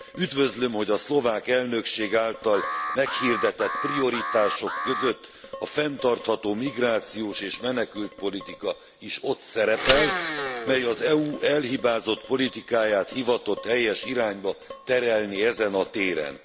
Üdvözlöm, hogy a szlovák elnökég által meghirdetett prioritások között a fenntartható migrációs és menekültpolitika is ott szerepel, mely az EU elhibázott politikáját hivatott helyes irányba terelni ezen a téren.